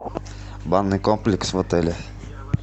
банный комплекс в отеле